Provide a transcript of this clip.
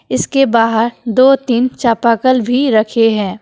इसके बाहर दो तीन चापाकल भी रखे हैं।